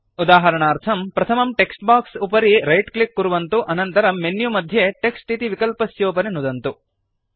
उदाहरणार्थम् प्रथमं text box उपरि रैट् क्लिक् कुर्वन्तु अनन्तरं मेन्यु मध्ये टेक्स्ट् इति विकल्पस्योपरि नुदन्तु